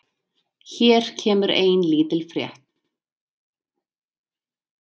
Hér kemur ein lítil frétt.